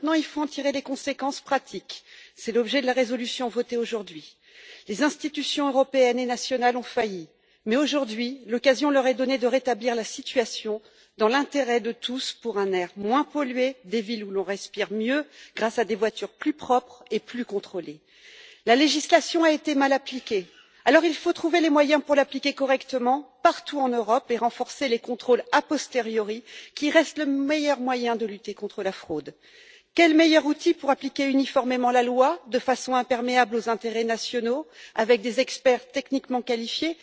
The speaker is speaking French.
Il faut maintenant en tirer les conséquences pratiques. Tel est l'objet de la résolution votée aujourd'hui. Les institutions européennes et nationales ont failli, mais l'occasion leur est donnée aujourd'hui de rétablir la situation dans l'intérêt de tous, pour un air moins pollué et des villes où l'on respire mieux grâce à des voitures plus propres et plus contrôlées. La législation a été mal appliquée. Il faut donc trouver les moyens de l'appliquer correctement partout en Europe et renforcer les contrôles a posteriori, qui restent le meilleur moyen de lutter contre la fraude. Quel meilleur outil qu'une agence européenne spécialisée pour appliquer uniformément la loi, de façon imperméable aux intérêts nationaux, avec l'aide d'experts techniquement qualifiés?